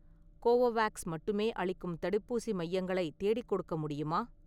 Covovax மட்டுமே அளிக்கும் தடுப்பூசி மையங்களை தேடிக்கொடுக்க முடியுமா?